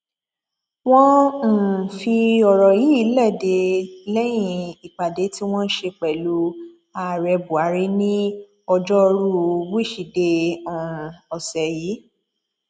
wọn um fi ọrọ yìí lédè lẹyìn ìpàdé tí wọn ṣe pẹlú ààrẹ buhari ní ọjọrùú wíṣídẹẹ um ọsẹ yìí